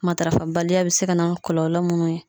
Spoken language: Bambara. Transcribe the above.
Matarafabaliya be se ka na ni kɔlɔlɔ munnu ye